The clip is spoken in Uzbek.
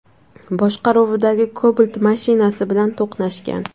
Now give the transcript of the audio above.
boshqaruvidagi Cobalt mashinasi bilan to‘qnashgan.